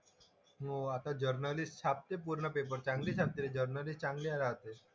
हो आता जर्नलिस्ट छापते पूर्ण पेपर. चांगली छापते जर्नलिस्ट चांगली राहते.